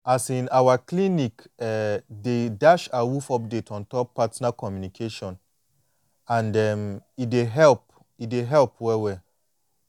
um our clinic um dey dash awoof update ontop partner communication and um e dey help e dey help well well